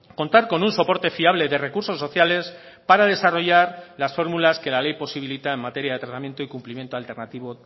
contar con un soporte fiable de recursos sociales para desarrollar las fórmulas que la ley posibilita en materia de tratamiento y cumplimiento alternativo